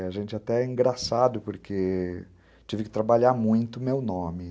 E a gente até é engraçado porque tive que trabalhar muito meu nome.